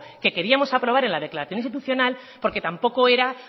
que queríamos aprobar en la declaración institucional porque tampoco era